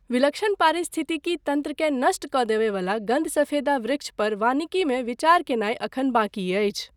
विलक्षण पारिस्थितिकी तन्त्रकेँ नष्ट कऽ देबय वला गन्धसफेदा वृक्ष पर वानिकीमे विचार कयनाय एखन बाँकी अछि।